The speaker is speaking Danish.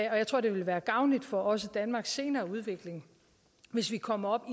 og jeg tror det ville være gavnligt for også danmarks senere udvikling hvis vi kommer op